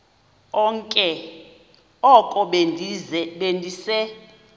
oko be ndise